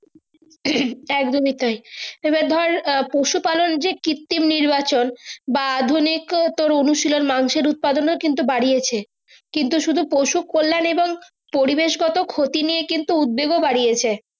একদমই তাই তবে ধরে পশু পালন যে কৃত্ৰিম নির্যাপন বা আধুনিক উনশীলন মানুষের উৎপাদন ও কিন্তু বাড়িয়েছে কিন্তু শুদু পশু কল্যাণ এবং পরিবেশ গত ক্ষতি কিন্তু উৎবেগ ও বাড়িয়েছে।